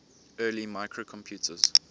early microcomputers